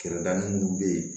Kɛrɛda minnu bɛ yen